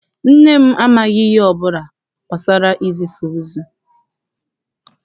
Nne m amaghị ihe ọbụla gbasara Ịgbasa ozi.